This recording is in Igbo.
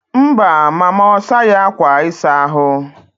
Mba, mama ọ saghị akwa ịsa ahụ.